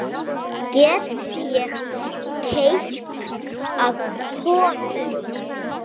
Get ég keypt af honum?